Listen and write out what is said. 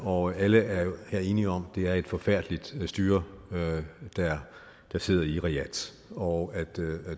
og alle er enige om at det er et forfærdeligt styre der sidder i riyadh og at det